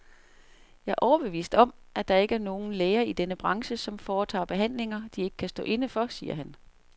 Jeg er overbevist om, at der ikke er nogen læger i denne branche, som foretager behandlinger, de ikke kan stå inde for, siger han.